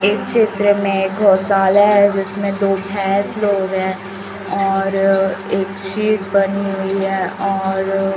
इस क्षेत्र में गौशाला है जिसमें दो भैंस लोग है और एक शीट बनी हुई है और --